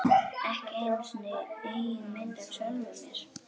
Ekki einu sinni eigin mynd af sjálfum mér.